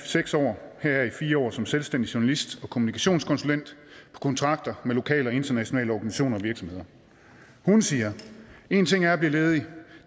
seks år heraf i fire år som selvstændig journalist og kommunikationskonsulent på kontrakter med lokale og internationale organisationer og virksomheder hun siger én ting er at blive ledig